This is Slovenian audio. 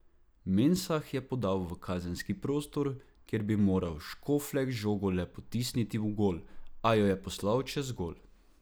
Mensah je podal v kazenski prostor, kjer bi moral Škoflek žogo le potisniti v gol, a jo je poslal čez gol.